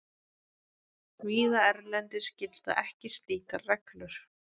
Víða erlendis gilda ekki slíkar reglur.